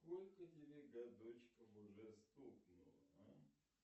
сколько тебе годочков уже стукнуло а